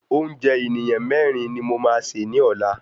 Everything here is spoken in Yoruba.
Oúnjẹ ènìyàn mẹ́rin ni mo máa sè ni ọlá.